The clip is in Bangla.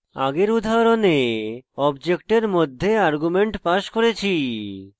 আগের উদাহরণে অবজেক্টের মধ্যে arguments passed করেছি